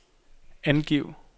angiv